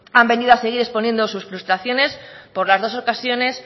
han venido a seguir exponiendo sus frustraciones por las dos ocasiones